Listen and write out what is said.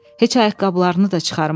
Heç ayaqqabılarını da çıxarmadı.